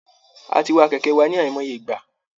A ti wa kẹ̀kẹ́ wa ní àìmọye ìgbà